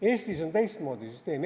Eestis on teistmoodi süsteem.